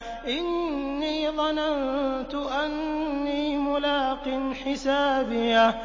إِنِّي ظَنَنتُ أَنِّي مُلَاقٍ حِسَابِيَهْ